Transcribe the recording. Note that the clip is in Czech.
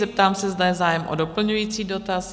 Zeptám se, zda je zájem o doplňující dotaz?